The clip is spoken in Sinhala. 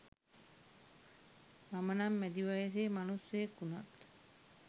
මම නම් මැදි වයසේ මනුස්සයෙක් වුනත්